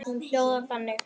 Hún hljóðar þannig